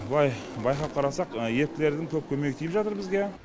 былай байқап қарасақ еріктілердің көп көмегі тиіп жатыр бізге